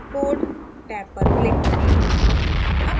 code tab पर click करें